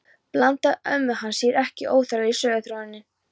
Blandaði amma hans sér ekki óþarflega í söguþráðinn?